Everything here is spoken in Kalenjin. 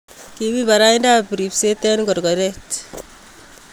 kimi barayiinta riibseet eng korkoreet